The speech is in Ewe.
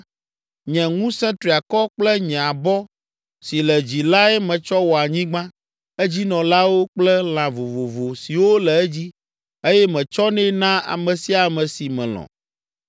Nye ŋusẽ triakɔ kple nye abɔ si le dzi lae metsɔ wɔ anyigba, edzinɔlawo kple lã vovovo siwo le edzi eye metsɔnɛ naa ame sia ame si melɔ̃.